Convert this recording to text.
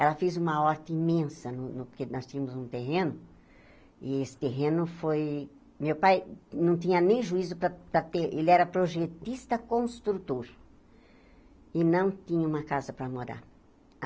Ela fez uma horta imensa no no, porque nós tínhamos um terreno, e esse terreno foi... Meu pai não tinha nem juízo para para ter, ele era projetista-construtor, e não tinha uma casa para morar.